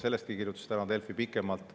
Sellestki kirjutas täna Delfi pikemalt.